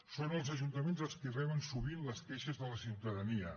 són els ajuntaments els qui reben sovint les queixes de la ciutadania